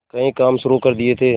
कई काम शुरू कर दिए थे